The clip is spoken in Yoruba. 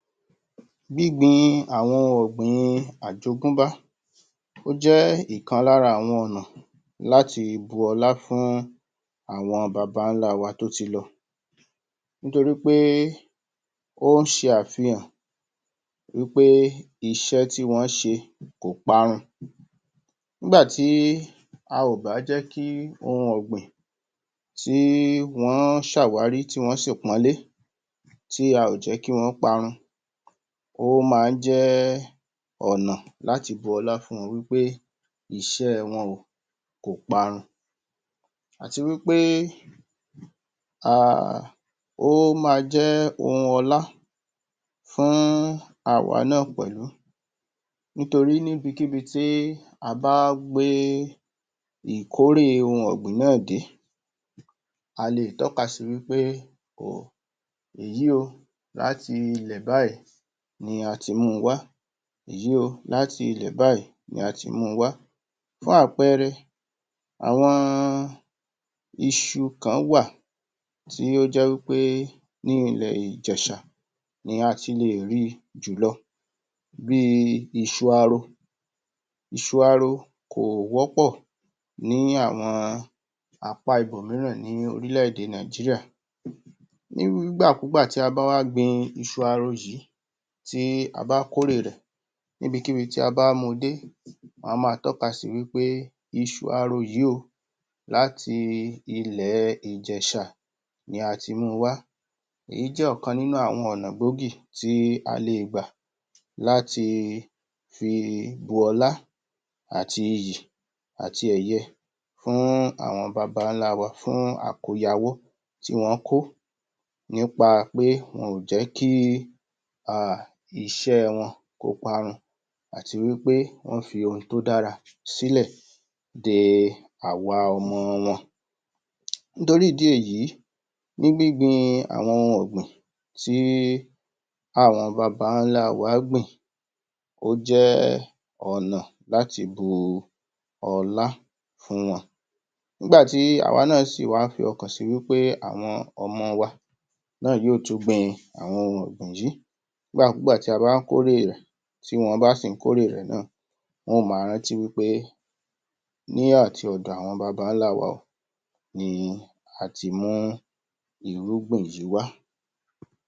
Gbígbin àwọn ohun ọ̀gbìn àjogúnbá ó jẹ́ ìkan lára àwọn ọ̀nà láti bu ọlá fún àwọn babálá wa tó ti lọ nítorí wí pé ó se àfihàn wí pé iṣẹ́ tí wọ́n se kòparun nígbàtí a ò bá jẹ́ kí ohun ọ̀gbìn tí wọ́n sàwárí, tí wọ́n sì pónlé tí a ò jẹ́ kí wọn ó parun ó ma jẹ́ ẹ́ ọ̀nà láti bu ọlá fún wọn wí pé iṣẹ́ wọn ò parun àti wí pé ahhhhh ó ma jẹ́ ohun ọlá fún àwà náà pèlú nítorí níbikíbí tí a bá gbé é ìkóré ohun ọ̀gbìn náà dé a le tọ́ka sí wí pé o èyí o láti ilè báyìí ni a ti mu wá yìí o láti ilẹ̀ báyìí ni ati mu wá fún àpẹẹrẹ àwọn isu kan wà tí ó jẹ́ wí pé ní ilẹ̀ ìjẹ̀shà ni a ti lẹ̀ ri jùlọ bí isu aro isu aáró kò wọ́pọ̀ ní àwọn apá ibòmíràn ní orílè-èdè nàíjíríà? ní irú ìgbàkúgbà tí a bá wá gbin isu aro yìí tí a bá kórè rẹ̀ níbikíbi tí a bá mu dé wọn a ma tọ́ka si wí pe isu aro yìí o láti i ilẹ̀ ẹ̀ ìjẹ̀shà ni ati mu wá èyí jẹ́ ọ̀kan nínú ọ̀nà gbòógì tí a lè gbà láti i fi bu ọlá àti iyì àti èye fún àwọn babálá wa fún àkọ́yawọ́ tí wọ́n kó nípa pé wọn ò jẹ́ kí í ahh iṣẹ́ wọn kó parun àti wí pé wọ́n fi ohun tó dára sílẹ̀ de àwa ọmọ wọn? nítorí ìdí èyí ní gbígbin àwọn ohun ọ̀gbìn ti ́í àwọn babálá wa gbin ó jẹ́ ọ̀nà láti bu u ọlá fún wọn nígbàtí àwa náà si wá fọkàn si wí pé àwọn ọmọ wa náà yó tún gbin àwọn ohun ọ̀gbìn yíì nígbàkúgbà tí a bá kórè rẹ̀ tí wọ́n bá sì kórè rẹ̀ náà wọ́n ma rántí wí pé ní àti òdò àwọn babálá wa o ni i ati mú irúgbìn yí wá